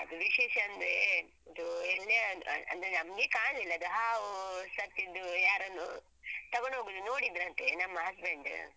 ಅದು ವಿಶೇಷ ಅಂದ್ರೇ ಒಂದು ಎಣ್ಣೆ ಅಂದ್~ ಅಂದ್ರೆ ನಮ್ಗೆ ಕಾಣ್ಲಿಲ್ಲ ಅದು ಹಾವು ಸತ್ತಿದ್ದು ಯಾರನ್ನೋ ತಗೊಂಡ್ ಹೋಗುದು ನೋಡಿದ್ರಂತೆ ನಮ್ಮ husband.